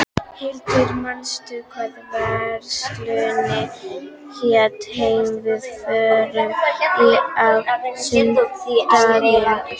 Hildur, manstu hvað verslunin hét sem við fórum í á sunnudaginn?